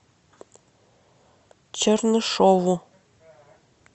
чернышову